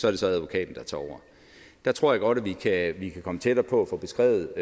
er det så advokaten der tager over der tror jeg godt vi kan vi kan komme tættere på at få beskrevet